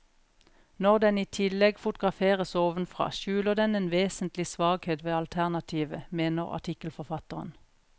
Når den i tillegg fotograferes ovenfra, skjuler den en vesentlig svakhet ved alternativet, mener artikkelforfatteren.